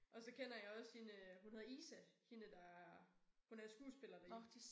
Og så kender jeg også hende øh hun hedder Isa hende der hun er skuespiller deri